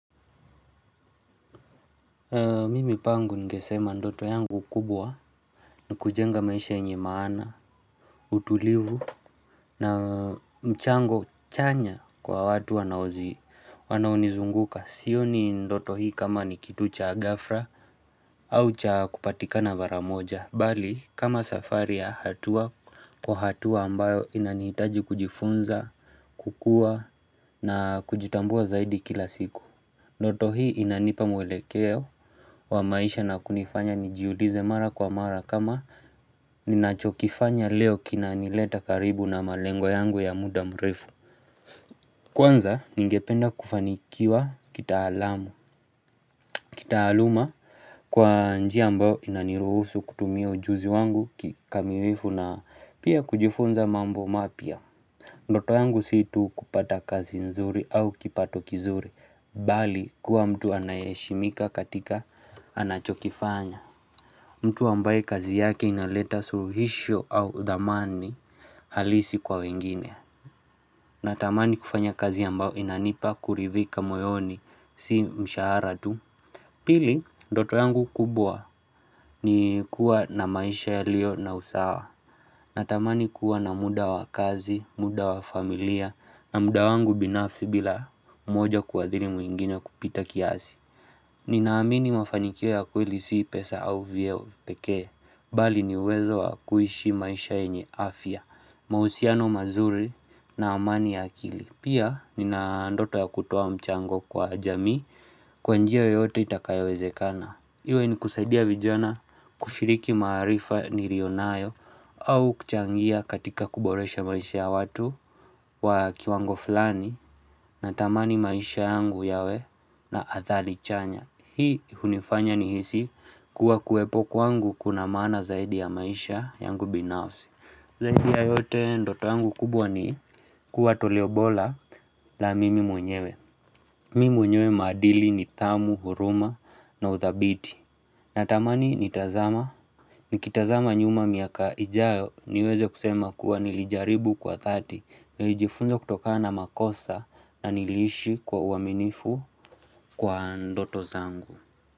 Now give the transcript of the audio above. Mimi pangu ningesema ndoto yangu kubwa na kujenga maisha enye maana, utulivu na mchango chanya kwa watu wanaozii, wanaunizunguka. Siyo ni ndoto hii kama nikitu cha gafra au cha kupatika na varamoja. Bali, kama safari ya hatuwa kwa hatuwa ambayo inaniitaji kujifunza, kukua na kujitambua zaidi kila siku. Ndoto hii inanipa mwelekeo wa maisha na kunifanya njiulize mara kwa mara kama ninachokifanya leo kina nileta karibu na malengo yangu ya muda mrefu. Kwanza ningependa kufanikiwa kitaalamu, kitaaluma kwa njia mbao inaniruhusu kutumia ujuzi wangu kikamirifu na pia kujifunza mambo mapya. Ndoto yangu situ kupata kazi nzuri au kipato kizuri, bali kuwa mtu anayeshimika katika anachokifanya. Mtu ambaye kazi yake inaleta suruhisho au thamani halisi kwa wengine. Natamani kufanya kazi yambao inanipa kuridhika moyoni si mshaharatu. Pili, ndoto yangu kubwa ni kuwa na maisha yalio na usawa. Natamani kuwa na muda wa kazi, muda wa familia, na muda wangu binafsi bila moja kuadhiri mwingine kupita kiazi. Ninaamini mafanikio ya kweli si pesa au vio pekee, bali ni wezo wa kuishi maisha enye afya, mahusiano mazuri na amani ya kili. Pia, ninaandoto ya kutuwa mchango kwa jami kwanjia yoyote itakayawezekana. Iwe ni kusaidia vijana kushiriki marifa ni rionayo au kuchangia katika kuboresha maisha ya watu wa kiwango fulani na tamani maisha yangu yawe na athali chanya. Hii unifanya ni hisi kuwa kuepo kwangu kuna mana zaidi ya maisha yangu binafsi. Zaidi ya yote ndoto yangu kubwa ni kuwa toleobola la mimi mwenyewe. Mimi mwenyewe madili ni tamu, huruma na uthabiti. Natamani nitazama. Nikitazama nyuma miaka ijayo niwezo kusema kuwa nilijaribu kwa 30, nilijifunza kutoka na makosa na nilishi kwa uaminifu kwa ndoto zangu.